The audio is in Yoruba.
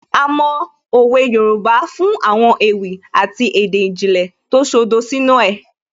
A mọ òwe Yorùbá fún àwọn ewì àti èdè ìjìnlẹ̀ tó ṣodo sínú ẹ̀